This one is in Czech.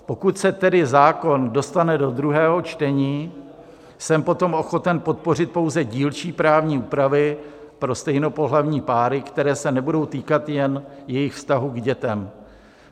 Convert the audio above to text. Pokud se tedy zákon dostane do druhého čtení, jsem potom ochoten podpořit pouze dílčí právní úpravy pro stejnopohlavní páry, které se nebudou týkat jen jejich vztahu k dětem.